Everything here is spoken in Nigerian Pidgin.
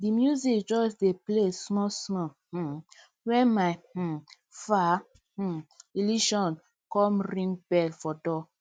the music just dey play small small um when my um far um relation come ring bell for door